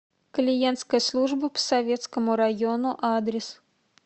клиентская служба по советскому району адрес